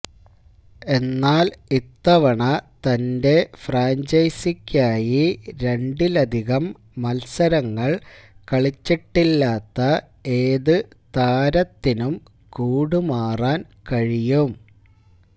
എന്നാല് ഇത്തവണ തന്റെ ഫ്രാഞ്ചൈസിക്കായി രണ്ടിലധികം മല്സരങ്ങള് കളിച്ചിട്ടില്ലാത്ത ഏതു താരത്തിനും കൂടുമാറാന് കഴിയും